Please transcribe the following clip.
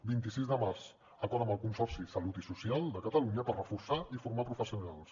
vint sis de març acord amb el consorci de salut i social de catalunya per reforçar i formar professionals